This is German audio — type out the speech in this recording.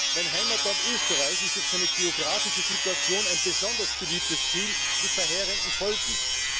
Mein Heimatland Österreich ist durch seine geographische Situation ein besonders beliebtes Ziel, was verheerende Folgen hat.